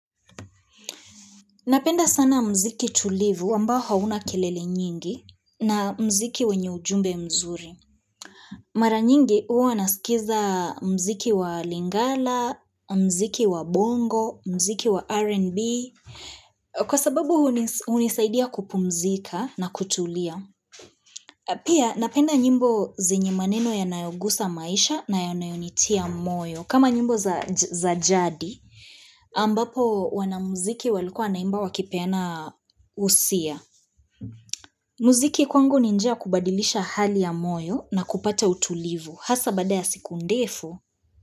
Napenda sana mziki tulivu ambao hauna kelele nyingi na mziki wenye ujumbe mzuri. Mara nyingi huwa nasikiza mziki wa lingala, mziki wa bongo, mziki wa R&B. Kwa sababu hunisaidia kupumzika na kutulia. Pia napenda nyimbo zenyi maneno yanayogusa maisha na yanayonitia moyo. Kama nyimbo za jadi, ambapo wana muziki walikua wanaimba wakipeana husia. Muziki kwangu ni njia ya kubadilisha hali ya moyo na kupata utulivu. Hasa baada ya siku ndefu.